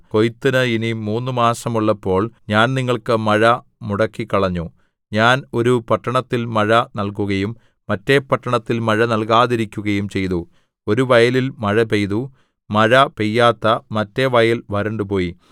കൊയ്ത്തിന് ഇനി മൂന്നു മാസമുള്ളപ്പോൾ ഞാൻ നിങ്ങൾക്ക് മഴ മുടക്കിക്കളഞ്ഞു ഞാൻ ഒരു പട്ടണത്തിൽ മഴ നൽകുകയും മറ്റെ പട്ടണത്തിൽ മഴ നൽകാതിരിക്കുകയും ചെയ്തു ഒരു വയലിൽ മഴ പെയ്തു മഴ പെയ്യാത്ത മറ്റെ വയൽ വരണ്ടുപോയി